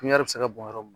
Pipɲari bɛ se ka bɔrɔ